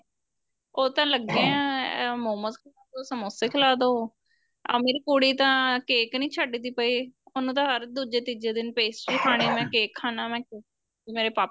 ਉਹ ਤਾਂ ਲੱਗਿਆ ਇਹ ਮੋਮੋਸ ਖਿਲਾ ਦੋ ਸਮੋਸੇ ਖਿਲਾਦੋ ਆ ਮੇਰੀ ਕੁੜੀ ਤਾਂ cake ਨੀਂ ਛੱਡਦੀ ਪਈ ਉਹਨੂੰ ਤਾ ਹਰ ਦੂਜੇ ਤੀਜੇ ਦਿਨ pastry ਖਾਣੀ ਮੈ cake ਖਾਣਾ ਮੈਂ ਮੇਰੇ ਪਾਪਾ ing